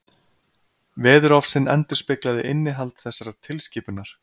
Veðurofsinn endurspeglaði innihald þessarar tilskipunar.